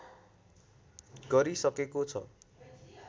गरिसकेको छ